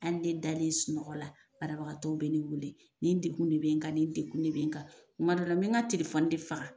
Hali ne dalen sunɔgɔ la banabagatɔ bɛ ne wele ni degun de bɛ n kan ni degun de bɛ n kan. Kuma dɔ me n ka t tilefɔni de faga.